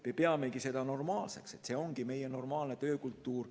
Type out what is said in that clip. Me peamegi seda normaalseks, see ongi meie normaalne töökultuur.